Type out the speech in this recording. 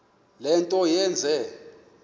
le nto yenze